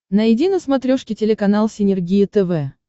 найди на смотрешке телеканал синергия тв